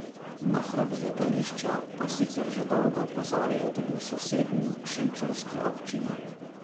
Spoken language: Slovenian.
Na hrup z letališča pa sicer že dolgo opozarjajo tudi v sosednji, šenčurski občini.